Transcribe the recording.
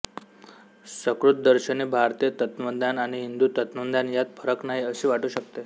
सकृतदर्शनी भारतीय तत्त्वज्ञान आणि हिंदू तत्त्वज्ञान यात फरक नाही असे वाटू शकते